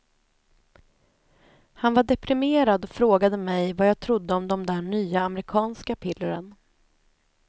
Han var deprimerad och frågade mig vad jag trodde om de där nya amerikanska pillren.